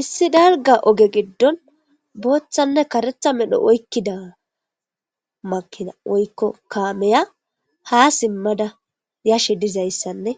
Issi dalga oge giddon booththanne kareththa medho oykkida kaamiya ha simmada yashe dizaysanne